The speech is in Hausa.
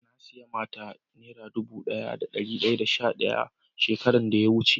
Na siya mata dubu daya da dari daya da sha daya shekaran da ya wuce.